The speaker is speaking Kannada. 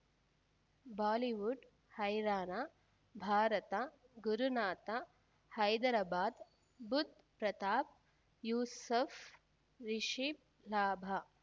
ಬಾಲಿವುಡ್ ಹೈರಾಣ ಭಾರತ ಗುರುನಾಥ ಹೈದರಾಬಾದ್ ಬುಧ್ ಪ್ರತಾಪ್ ಯೂಸುಫ್ ರಿಷಬ್ ಲಾಭ